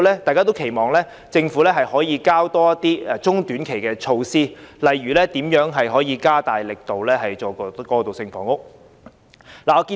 大家都期望政府可以提出更多中短期措施，例如加大力度推行過渡性房屋。